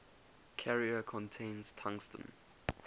carrier contains tungsten